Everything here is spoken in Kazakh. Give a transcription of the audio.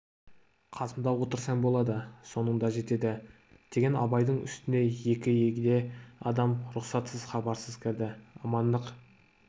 қасымда отырсаң болады соның да жетеді деген абайдың үстіне екі егде адам рұқсатсыз хабарсыз кірді амандық